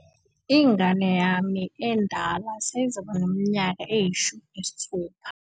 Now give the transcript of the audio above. ingane yami endala seyizoba neminyaka eyi-16